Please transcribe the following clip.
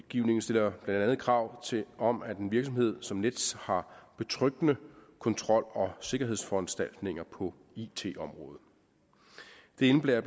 stiller blandt andet krav om at en virksomhed som nets har betryggende kontrol og sikkerhedsforanstaltninger på it området det indebærer